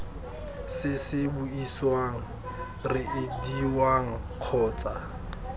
se se buisiwang reediwang kgotsa